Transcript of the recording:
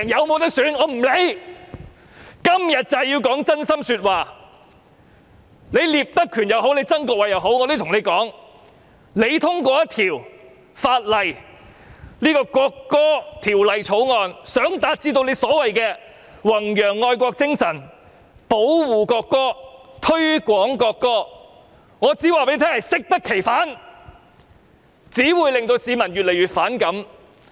無論是聶德權也好，曾國衞也好，我想告訴他們，如果以為通過這項《條例草案》是要達致所謂的弘揚愛國精神、保護國歌、推廣國歌，結果只會適得其反，令市民越來越反感。